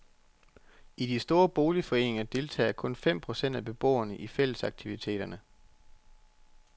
I de store boligforeninger deltager kun fem procent af beboerne i fællesaktiviteterne.